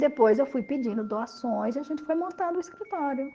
Depois eu fui pedindo doações e a gente foi montando o escritório.